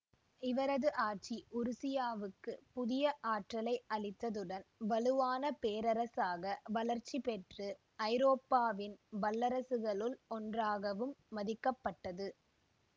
இவரது ஆட்சி உருசியாவுக்குப் புதிய ஆற்றலை அளித்ததுடன் வலுவான பேரரசாக வளர்ச்சிபெற்று ஐரோப்பாவின் வல்லரசுகளுள் ஒன்றாகவும் மதிக்கப்பட்டது